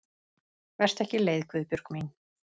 Vertu ekki leið Guðbjörg mín.